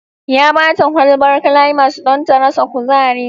Ya ba ta kwalbar climas don ta rasa kuzari